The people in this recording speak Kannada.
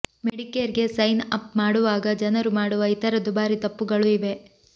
ಮೆಡಿಕೇರ್ಗೆ ಸೈನ್ ಅಪ್ ಮಾಡುವಾಗ ಜನರು ಮಾಡುವ ಇತರ ದುಬಾರಿ ತಪ್ಪುಗಳು ಇವೆ